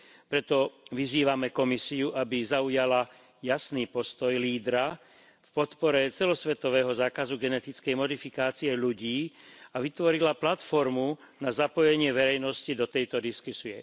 Preto vyzývame Komisiu, aby zaujala jasný postoj lídra v podpore celosvetového zákazu genetickej modifikácie ľudí a vytvorila platformu na zapojenie verejnosti do tejto diskusie.